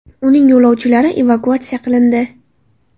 Uning yo‘lovchilari evakuatsiya qilindi.